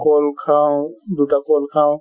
ক'ল খাঁও , দুটা ক'ল খাঁও